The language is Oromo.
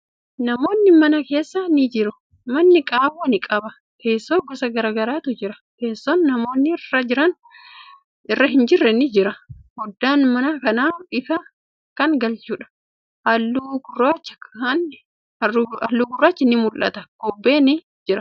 Namootni mana keessa ni jiru. Manni qaawwa ni qaba. Teessoo gosa garagaraatu jira. Teesson namni irra hin jirre ni jira. Foddaan mana kanaa ifa kan galchuudha. Haalluu gurraachi ni mul'ata. Kobbeen ni jira.